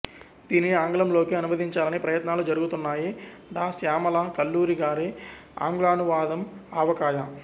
దీనిని ఆంగ్లంలోకి అనువదించాలని ప్రయత్నాలు జరుగుతున్నాయి డా శ్యామల కల్లూరి గారి అంగ్లానువాదం ఆవకాయ